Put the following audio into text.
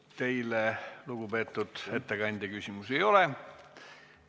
Teile, lugupeetud ettekandja, küsimusi ei ole.